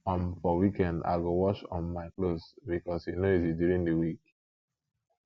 um for weekend i go wash um my clothes because e no easy during the week